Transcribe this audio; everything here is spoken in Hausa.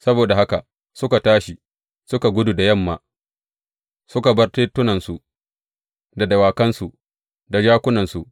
Saboda haka suka tashi, suka gudu da yamma, suka bar tentunansu, da dawakansu, da jakunansu.